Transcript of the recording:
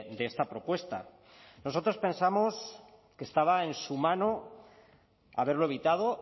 de esta propuesta nosotros pensamos que estaba en su mano haberlo evitado